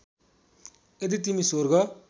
यदि तिमी स्वर्ग